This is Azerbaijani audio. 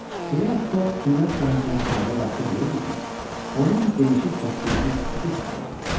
Fias Fog dünya səyahətinə çıxanda yaxşı bilirdi ki, onun gedişi səsküysüz ötüşməyəcək.